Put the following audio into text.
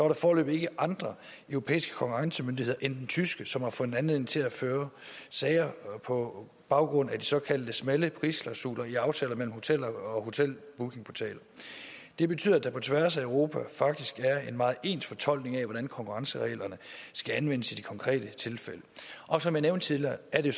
der foreløbig ikke andre europæiske konkurrencemyndigheder end tyske som har fundet anledning til at føre sager på baggrund af de såkaldte smalle prisklausuler i aftaler mellem hoteller og hotelbookingportaler det betyder at der på tværs af europa faktisk er en meget ens fortolkning af hvordan konkurrencereglerne skal anvendes i de konkrete tilfælde og som jeg nævnte tidligere er det